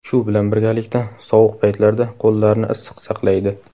Shu bilan birgalikda sovuq paytlarda qo‘llarni issiq saqlaydi.